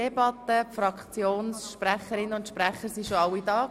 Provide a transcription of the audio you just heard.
Die Fraktionsvoten haben wir bereits gehört.